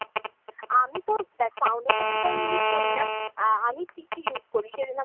আমিতো, দেখ foundation এতো আমি use করিনা। আমি CC use করি। সেজন্য